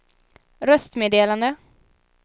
röstmeddelande